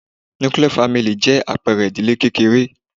Nuclear family ' jẹ́ àpẹẹre ìdílé kékeré